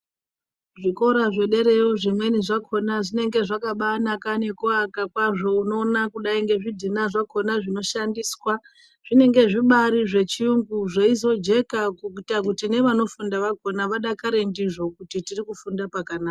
Zvikora zvedereyo zvimweni zvakona zvinenge zvakabanaka nekuaka kwazvo. Unoona kudai ngezvidhina zvakona zvinoshandiswa zvinenge zvibari zvechiyungu zveizojeka kuita kuti nevanofunda vakona, vadakare ndizvo kuti tiri kufunda pakanaka.